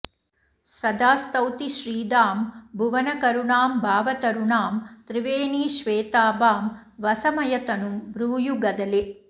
सदा स्तौति श्रीदां भुवनकरुणां भावतरुणां त्रिवेणीश्वेताभां वसमयतनुं भ्रूयुगदले